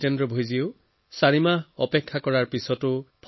এনেদৰে চাৰি মাহলৈকে জিতেন্দ্ৰ ডাঙৰীয়াৰ পেমেণ্ট হোৱা নাছিল